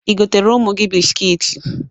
I goteere ụmụ gị biskiit?